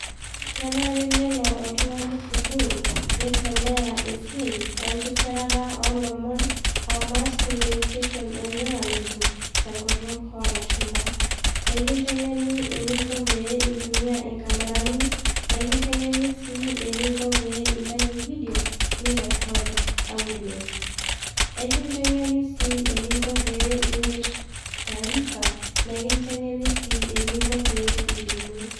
Kenare nelo oltung'ani sukuul, nesomea esiai enkisirata olomon, ah Mass Communication and Journalism, tenkutuk olashumpa. Nikinteng'en eninko pee intumia inkamerani, nikinteng'eni si eninko peyie intayu vidio, ni record audios. Ekinteng'eni si eninko pe iger taarifa, ekinteng'eni si eninko pee ilimu.